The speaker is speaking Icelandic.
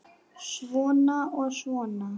Svona og svona.